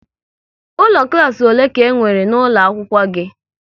Ụlọ klas ole ka e nwere n'ụlọ akwụkwọ gị?